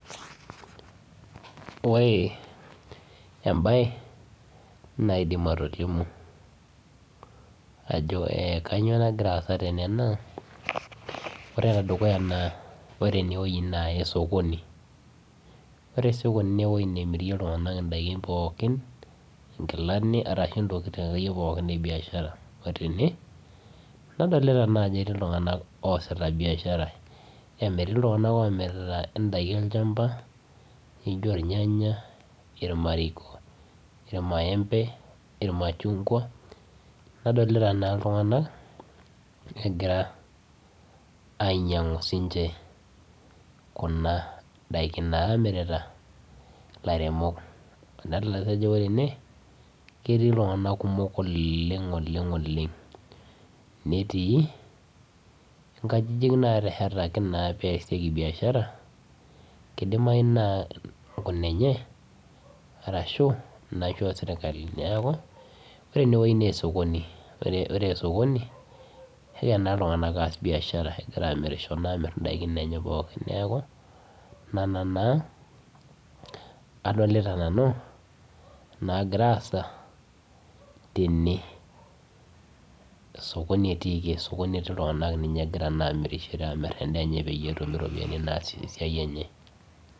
Ore embaye naidim atolimu ajo eh kanyio nagira aasa tene naa ore enedukuya naa ore enewueji naa esokoni ore sokoni newueji nemirie iltung'anak indaikin pookin inkilani arashu intokitin akeyie pooki e biashara otene nadolita naa ajo etii iltung'anak oasita biashara amu etii iltung'anak omirita indaiki olchamba nijio irnyanya irmariko irmaembe irmachungwa nadolita naa iltung'anak egira ainyiang'u sinche kuna daili namirita ilairemok adalta sii ajo ore ene ketii iltung'anak kumok oleng ooleng oleng netii inkajijik natehetaki naa pesieki biashara kidimai naa inkunenye arashu inaishoo sirkali neeku ore enewueji naa esokoni ore esokoni kegira naa iltung'anak aas biashara egira amirisho amirr indaikin enye pookin neeku nana naa adolita nanu nagira aasa tene esokoni etiiki esokoni etii iltung'anak ninye egira naa amirishore amirr endaa enye peyie etum iropiyiani naasie esiai enye.